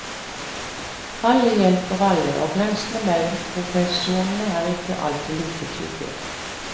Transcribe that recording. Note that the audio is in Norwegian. Alle hjelper alle, og grensene mellom profesjonene er ikke alltid like tydelige.